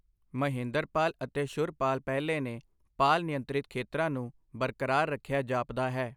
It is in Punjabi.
ਮਹੇਂਦਰਪਾਲ ਅਤੇ ਸ਼ੁਰਪਾਲ ਪਹਿਲੇ ਨੇ ਪਾਲ ਨਿਯੰਤਰਿਤ ਖੇਤਰਾਂ ਨੂੰ ਬਰਕਰਾਰ ਰੱਖਿਆ ਜਾਪਦਾ ਹੈ।